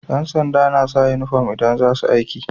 Yan sanda nasa inufom idan zasu aiki